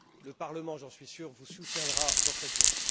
Le Parlement, j'en suis sûr, vous soutiendra dans cette voie.